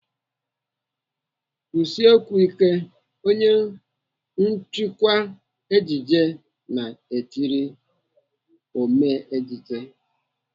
"Kwushie okwu ike!" Onye nchịkwa ejije na-etiri ome ejije.